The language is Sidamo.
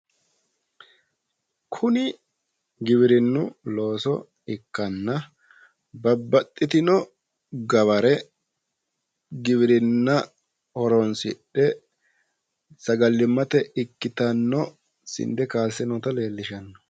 Kuni giwirinnu looso ikkanna babbaxxitino gaware giwirinna horoonsidhe sagalimmate ikkitanno sinde kaasse noota leellishanno.